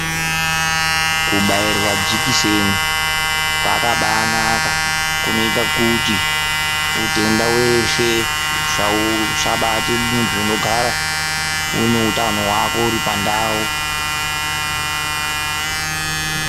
Kubairwa jikiseni kwakabanaka kunoita kuti utenda weshe usabate, muntu unogara une utano hwako uri pandau.